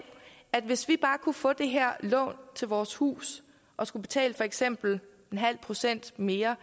at hvis vi bare kunne få det her lån til vores hus og skal betale for eksempel en halv procent mere